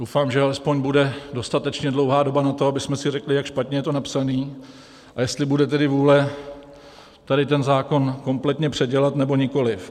Doufám, že alespoň bude dostatečně dlouhá doba na to, abychom si řekli, jak špatně je to napsané a jestli bude tedy vůle tady ten zákon kompletně předělat, nebo nikoliv.